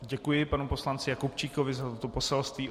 Děkuji panu poslanci Jakubčíkovi za to poselství.